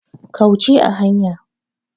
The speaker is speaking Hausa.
Kauce a hanya.